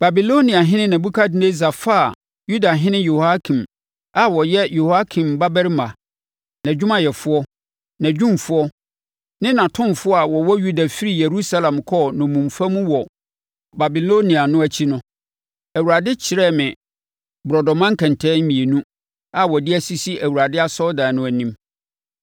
Babiloniahene Nebukadnessar faa Yudahene Yehoiakin a ɔyɛ Yehoiakim babarima, nʼadwumayɛfoɔ, nʼadwumfoɔ ne nʼatomfoɔ a wɔwɔ Yuda firii Yerusalem kɔɔ nnommumfa mu wɔ Babilonia no akyi no, Awurade kyerɛɛ me borɔdɔma nkɛntɛn mmienu a wɔde asisi Awurade asɔredan no anim.